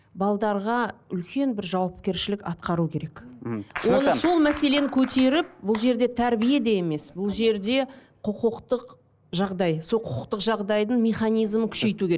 үлкен бір жауапкершілік атқару керек мхм түсінікті сол мәселені көтеріп бұл жерде тәрбие де емес бұл жерде құқықтық жағдай сол құқықтық жағдайдың механизімін күшейту